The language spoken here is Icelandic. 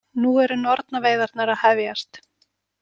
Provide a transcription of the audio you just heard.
Nú eru nornaveiðarnar að hefjast.